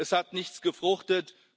Es hat nichts gefruchtet.